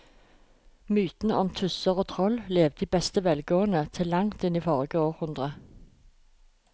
Mytene om tusser og troll levde i beste velgående til langt inn i forrige århundre.